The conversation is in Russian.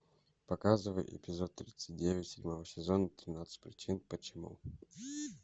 показывай эпизод тридцать девять седьмого сезона тринадцать причин почему